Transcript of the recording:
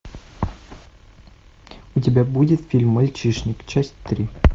у тебя будет фильм мальчишник часть три